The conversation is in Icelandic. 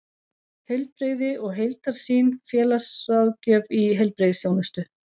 Heilbrigði og heildarsýn: félagsráðgjöf í heilbrigðisþjónustu.